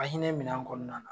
A hinɛ minɛ nan kɔnɔna na.